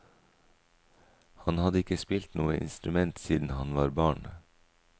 Han hadde ikke spilt noe instrument siden han var barn.